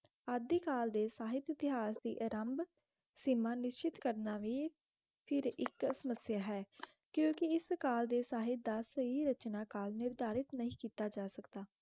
ਉਡ ਦੀ ਕਾਲ ਡੇ ਸਾਹਿਤ ਡੇ ਕਾਲ ਦੀ ਇਰੁਮਬ ਸੀਮਾ ਨਿਸਚਿਤ ਕਰਨਾ ਵੇਫਿਰ ਇਸਤੁਸ ਸਮਸਿਆ ਹੈ ਕਿਉਂਕਿ ਇਸ ਕਲ ਡੇ ਸੇਹਿਤ ਦਾ ਸਹੀ ਰੁਚਨਾਕਾਲ ਸਹੀ ਨਿਰਧਾਰਿਤ ਨਾਹੀ ਕੀਤਾ ਜਾ ਸਕਦਾ